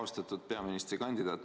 Austatud peaministrikandidaat!